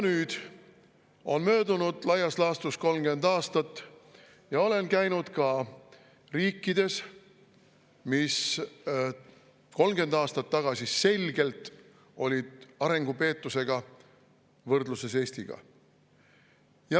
Nüüd on möödunud laias laastus 30 aastat ja olen käinud ka riikides, mis 30 aastat tagasi olid Eestiga võrreldes selgelt arengupeetusega.